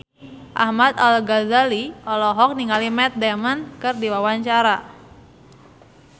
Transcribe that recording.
Ahmad Al-Ghazali olohok ningali Matt Damon keur diwawancara